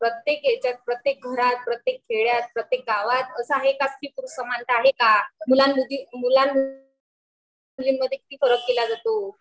पण प्रत्येक ह्याच्यात प्रत्येक घरात प्रत्येक खेडयात प्रत्येक गावात आसं आहे का स्त्री पुरुष समानता आहे का? मुलांमध्ये मुलीमद्धे किती फरक केला जातो